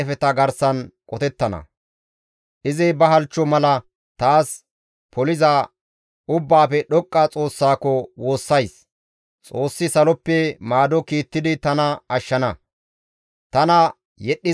Xoossi saloppe maado kiittidi tana ashshana; tana yedhdhizayta kawushshana; Xoossi ba mernaa siiqonne ba tumateththaa taas kiittana.